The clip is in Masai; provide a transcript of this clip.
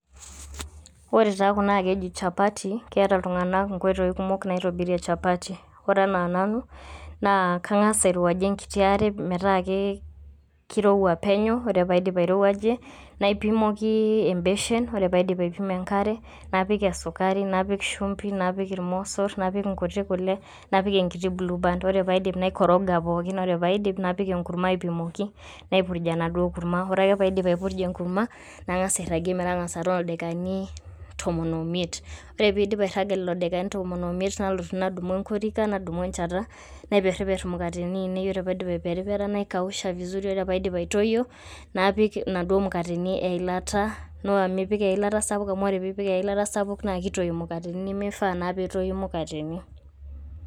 Ore taa kuna naa keji chapati naa keata iltung'ana inkoitoi kunok naitobirie chapati. Ore anaa nanu, kang'as airowaji enkiti aare, metaa ake keirowua penyo, ore paidip airowajie, naipimoki embeshen, ore paidip aipimoki enkare, napik esukari, napik shumpi, napik ilmosor, napik inkuti kule, napik enkiti blueband. Ore paidip, naikoroga pookin ore paidip, napik enkurma aipimoki, naipurj enaduo kurma, ore ake paidip aipurja enaduo kurma, nang'as airagie metotona ildakikani tomon oimiet. Ore peidip airaga lelo dakikani tomon oimiet, nalotu nadumu enkorika nadumu encheta, naiperiper imukatini ainei ore paidip aiperipera, naikausha vizuri, ore ake paidip aitoyo, napik inaduo mukatini eilataa, noa mipik eilataa sapuk amu ore pipik eilata sapuk naikitoi imukatini nimifaa naa netoyu mukatini.